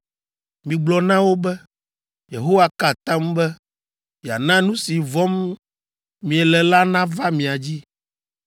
Migblɔ na wo be, ‘Yehowa ka atam be yeana nu si vɔ̃m miele la nava mia dzi.